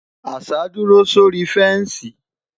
àṣà duro sórí fensi